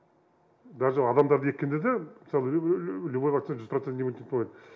даже адамдарды еккенде де мысалы любой вакцинада жүз процент иммунитет болмайды